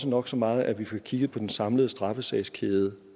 nok så meget at vi får kigget på den samlede straffesagskæde